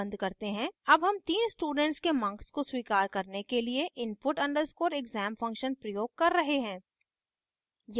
अब हम तीन स्टूडेंट्स के marks को स्वीकार करने के लिए input _ exam function प्रयोग कर रहे हैं